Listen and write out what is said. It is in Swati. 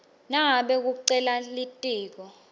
nangabe kucela litiko